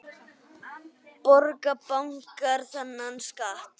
Borga bankar þennan skatt?